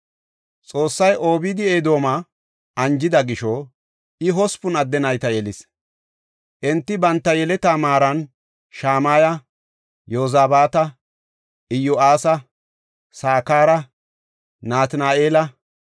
Xoossay Obeed-Edooma anjida gisho, I hospun adde nayta yelis. Enti banta yeletaa maaran Shamaya, Yozabaata, Iyo7aasa, Sakara, Natina7eela,